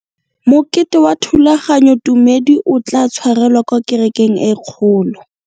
Mokete wa thulaganyôtumêdi o tla tshwarelwa kwa kerekeng e kgolo.